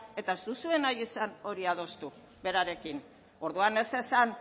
eta ez duzue nahi izan hori adostu berarekin orduan ez esan